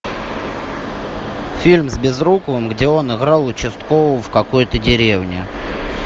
фильм с безруковым где он играл участкового в какой то деревне